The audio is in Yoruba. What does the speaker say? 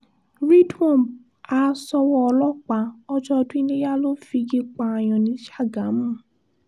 ridwan ha ṣọwọ́ ọlọ́pàá ọjọ́ ọdún iléyà ló figi pààyàn ní ṣàgámù